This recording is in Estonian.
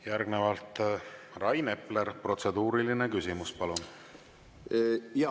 Järgnevalt Rain Epler, protseduuriline küsimus, palun!